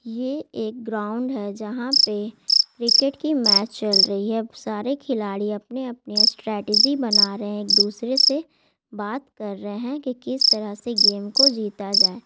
ये एक ग्रावुन्द है जहा पे क्रिकेट की मेच चल रही है और सारे खिलाड़ी अपने अपने स्तेत्जी बढ़ा रहे है एकल दुसरे से बात कर रहे है की किस तराह से गेम को जीता जाए।